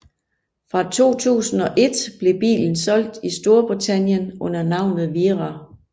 Fra 2001 blev bilen solgt i Storbritannien under navnet Wira